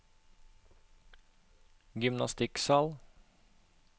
gymnastikksal